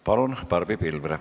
Palun, Barbi Pilvre!